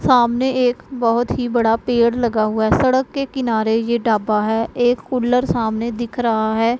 सामने एक बहोत ही बड़ा पेड़ लगा हुआ है सड़क के किनारे ये ढाबा है एक कूलर सामने दिख रहा है।